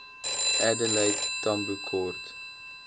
adelaide tambo kort